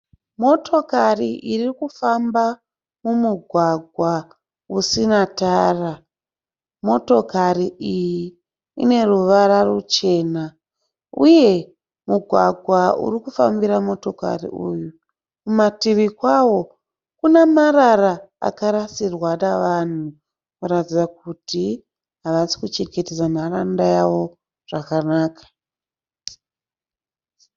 Motokari irikufamba mumugwagwa usina tara. Motokari iyi ine ruvara ruchena. Uye mugwagwa uri kufambira motokari uyu, kumativi kwawo kune marara akarasirwa nevanhu. Kuratidza kuti havasi kuchengetedza nharaunda yavo zvakanaka.